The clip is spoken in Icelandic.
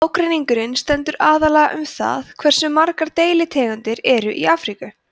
ágreiningurinn stendur aðallega um það hversu margar deilitegundir eru í afríku